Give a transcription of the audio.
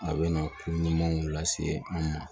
A bɛ na ko ɲumanw lase an ma